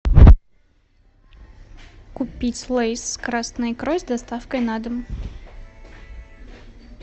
купить лейс с красной икрой с доставкой на дом